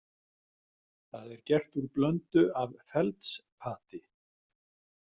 Það er gert úr blöndu af feldspati.